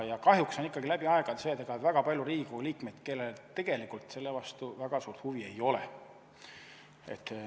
Kahjuks on ikkagi läbi aegade olnud nii, et on väga palju Riigikogu liikmeid, kellel tegelikult selle vastu väga suurt huvi ei ole.